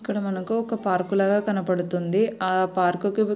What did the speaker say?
ఇందులో ఈ చిత్రాన్ని పగలు పూట తీసిన చిత్రం అని కూడా మనం చెప్పవచ్చు.